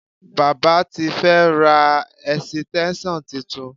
Baba ti fẹ́ ra ẹ̀sìtẹ́ńṣọ̀n titun